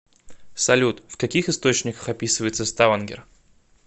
салют в каких источниках описывается ставангер